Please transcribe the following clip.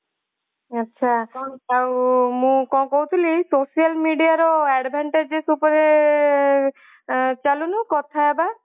ଆଚ୍ଛା କଣ ମୁଁ କଣ କହୁଥିଲି social media ର advantages ଉପରେ ଆଁ ଚାଲୁନୁ କଥା ହେବା